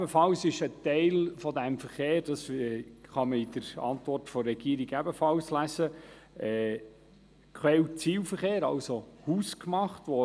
Zudem ist ein Teil dieses Verkehrs, wie man ebenfalls in der Antwort der Regierung nachlesen kann, Quell- und Zielverkehr, das heisst, er ist hausgemacht.